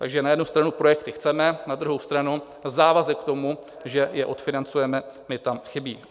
Takže na jednu stranu projekty chceme, na druhou stranu závazek k tomu, že je odfinancujeme, mi tam chybí.